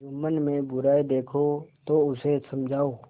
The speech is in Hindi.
जुम्मन में बुराई देखो तो उसे समझाओ